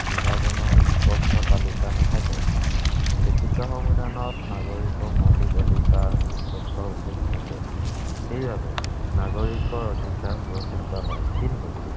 বিভাজনৰ স্পষ্ট তালিকা নাথাকে। লিখিত সংবিধানত নাগৰিকৰ মৌলিক অধিকাৰ স্পষ্ট উল্লেখ থাকে। সেইবাবে নাগৰিকৰ অধিকাৰ সুৰক্ষিত হয়, কিন্তু,